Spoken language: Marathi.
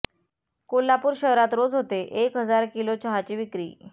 कोल्हापूर शहरात रोज होते एक हजार किलो चहाची विक्री